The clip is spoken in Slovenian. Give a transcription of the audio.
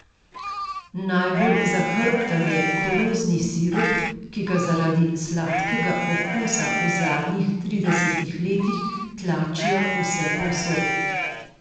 Najbolj zahrbten je koruzni sirup, ki ga zaradi sladkega okusa v zadnjih tridesetih letih tlačijo vsepovsod.